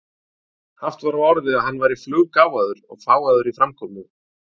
Haft var á orði að hann væri fluggáfaður og fágaður í framkomu.